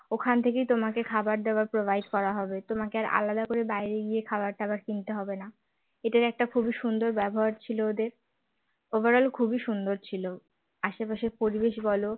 ওখান থেকে তোমাকে খাবারদাবার provide করা হবে তোমাকে আলাদা করে বাইরে গিয়ে খাবার টাবার কিনতে হবে না এটার একটা খুবই সুন্দর ব্যবহার ছিল ওদের overall খুবই সুন্দর ছিল আশপাশের পরিবেশ বল